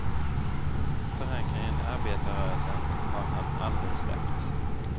Förankringen i arbetarrörelsen har han aldrig släppt.